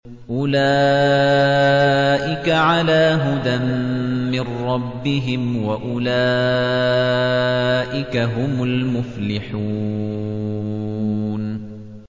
أُولَٰئِكَ عَلَىٰ هُدًى مِّن رَّبِّهِمْ ۖ وَأُولَٰئِكَ هُمُ الْمُفْلِحُونَ